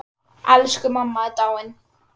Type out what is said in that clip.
Elsku mamma er dáin.